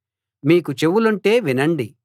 మీకు చెవులుంటే వినండి